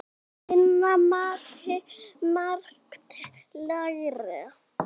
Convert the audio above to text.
Af Hinna mátti margt læra.